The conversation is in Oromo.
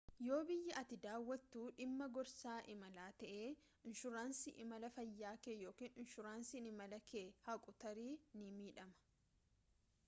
yoo biyyi ati daawwattu dhimma gorsaa imalaa ta'e inshuraansiin imala fayyaakee yookiin inshuraansiin imalakee haquu tarii ni miidhama